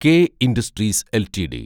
K industries LTD